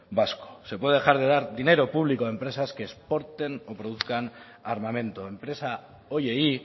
vasco se puede dejar de dar dinero público a empresas que exporten o produzcan armamento enpresa horiei